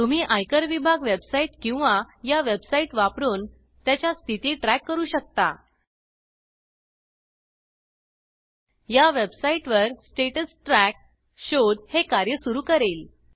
तुम्ही आयकर विभाग वेबसाइट किंवा या वेबसाइट वापरून त्याच्या स्थिती ट्रॅक करू शकता या वेबसाईटवर स्टॅटस Trackस्टेटस ट्रॅक शोध हे कार्य सुरू करेल